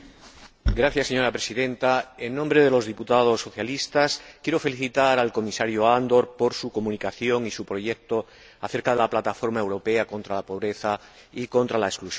Señora Presidenta, en nombre de los diputados socialistas, quiero felicitar al Comisario Andor por su comunicación y su proyecto acerca de la Plataforma Europea contra la Pobreza y la Exclusión Social.